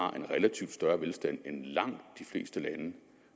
har en relativt større velstand end langt de fleste lande